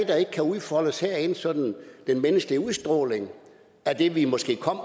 der ikke kan udfoldes herinde sådan den menneskelige udstråling af det vi måske kom